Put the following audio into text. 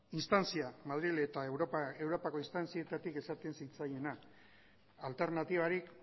madril eta europako instantzietatik esaten zitzaiena alternatibarik